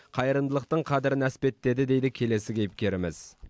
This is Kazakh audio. қайырымдылықтың қадірін әспеттеді дейді келесі кейіпкеріміз